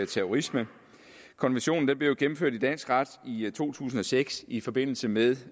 terrorisme konventionen blev jo gennemført i dansk ret i to tusind og seks i forbindelse med